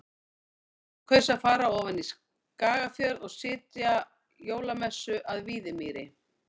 Jón kaus að fara ofan í Skagafjörð og sitja jólamessu að Víðimýri.